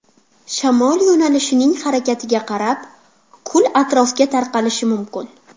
Shamol yo‘nalishining harakatiga qarab, kul atrofga tarqalishi mumkin.